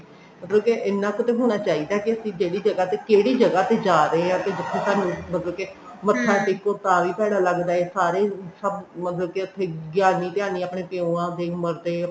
ਮਤਲਬ ਕ ਇੰਨਾ ਕ ਤਾਂ ਹੋਣਾ ਚਾਹੀਦਾ ਕੇ ਅਸੀਂ ਜਿਹੜੀ ਜਗ੍ਹਾ ਤੇ ਕਿਹੜੀ ਜਗ੍ਹਾ ਤੇ ਜਾ ਰਹੇ ਹਾਂ ਤੇ ਉੱਥੇ ਸਾਨੂੰ ਮਤਲਬ ਕੇ ਮੱਥਾ ਟੇਕੋ ਤਾਵੀ ਭੈੜਾ ਲੱਗਦਾ ਐ ਸਾਰੇ ਸਭ ਮਤਲਬ ਕੇ ਉੱਥੇ ਗਿਆਨੀ ਧਿਆਨੀ ਆਪਨੇ ਪਿਉਆ ਦੇ ਉਮਰ ਦੇ